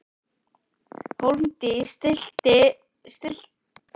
Hólmdís, stilltu niðurteljara á sextíu og tvær mínútur.